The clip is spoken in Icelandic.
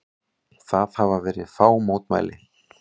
Það hafa verið fá mótmæli